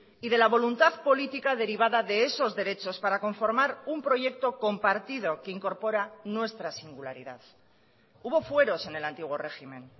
y de la voluntad política derivada de esos derechos para conformar un proyecto compartido que incorpora nuestra singularidad hubo fueros en el antiguo régimen